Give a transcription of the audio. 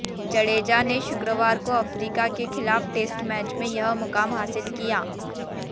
जडेजा ने शुक्रवार को अफ्रीका के खिलाफ टेस्ट मैच में यह मुकाम हासिल किया